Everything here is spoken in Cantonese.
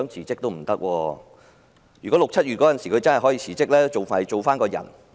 在6月、7月，如果她可以辭職，還可以做一個正常人。